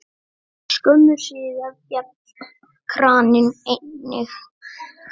Skömmu síðar féll kraninn einnig.